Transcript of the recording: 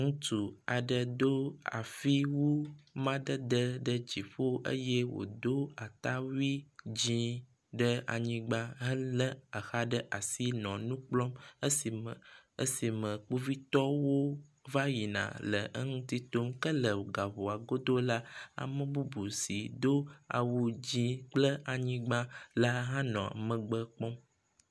Ŋutsu aɖe si do afiwu madede ɖe dziƒo eye wodó atawui dzĩ ɖe anyigba hele exa ɖe asi nɔ nukplɔm esime esime kpovitɔwo vayina le eŋuti tom ke le gaʋɔa godó la ame bubu si dó awu dzĩ kple anyigba la hã nɔ megbe kpɔm